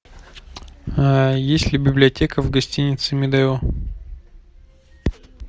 есть ли библиотека в гостинице медео